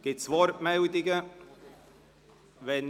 Gibt es Wortmeldungen dazu?